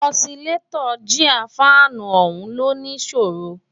ọ̀silétọ́ gíà fáànù ọ̀hún ló ní ìṣòro